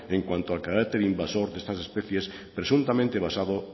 en cuanto al carácter invasor de estas especies presuntamente basado